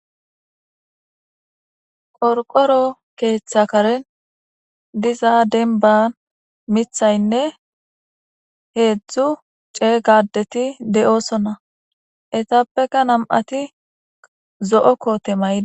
qorqoro keeththa karen diza denba mithaynne heedzdzu cee gadeti de7oosona etappeka nam7ati zo7o koote mayi